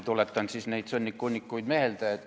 Tuletan siis neid sõnnikuhunnikuid meelde.